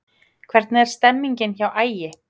Hvernig er stemningin hjá Ægi?